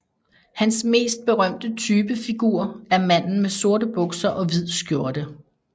Hans mest berømte type figur er manden med sorte bukser og hvid skjorte